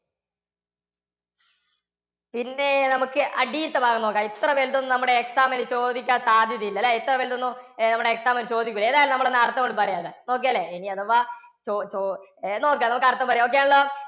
പിന്നെ നമുക്ക് അടിയിലത്തെ ഭാഗം നോക്കാം. അത്ര വലുത് നമ്മുടെ ഒന്നും exam ന് ചോദിക്കാൻ സാധ്യതയില്ല അല്ലേ? ഇത്ര വലുത് ഒന്നും നമ്മുടെ exam ന് ചോദിക്കില്ല. ഏതായാലും നമ്മൾ അർത്ഥമങ്ങട് പറയാലോ? okay അല്ലേ ഇനി അഥവാ ചൊ~നമുക്ക് അർത്ഥം പറയാം ഒക്കെ ആണല്ലോ